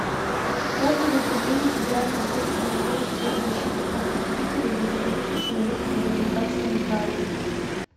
отзывы управление федеральной службы по надзору в сфере защиты прав потребителей и благополучия человека по забайкальскому краю